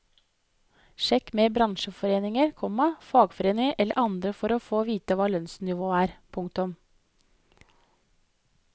Sjekk med bransjeforeninger, komma fagforeninger eller andre for å få vite hva lønnsnivået er. punktum